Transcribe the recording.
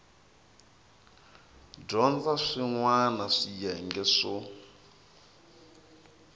dyondza swin wana swiyenge swo